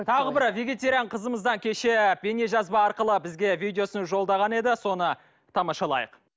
тағы бір вегетариан қызымыз да кеше бейнежазба арқылы бізге видеосын жолдаған еді соны тамашалайық